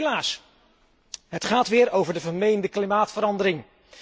Helaas, het gaat weer over de vermeende klimaatverandering.